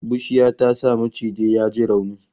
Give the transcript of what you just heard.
Bushiya ta sa maciji ya ji rauni